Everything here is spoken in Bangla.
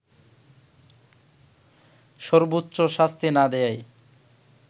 সর্বোচ্চ শাস্তি না দেয়ায়